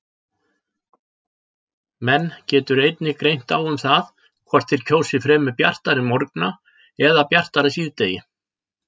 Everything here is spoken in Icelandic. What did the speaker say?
Menn getur greint á um það hvort þeir kjósi fremur bjartari morgna eða bjartara síðdegi.